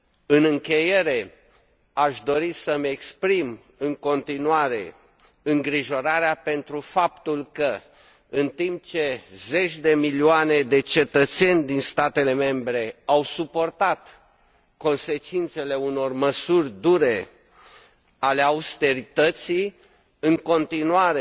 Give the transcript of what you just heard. În încheiere, aș dori să îmi exprim în continuare îngrijorarea pentru faptul că, în timp ce zeci de milioane de cetățeni din statele membre au suportat consecințele unor măsuri dure ale austerității, în continuare